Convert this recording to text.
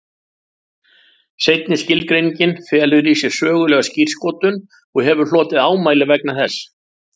Seinni skilgreiningin felur í sér sögulega skírskotun og hefur hlotið ámæli vegna þess.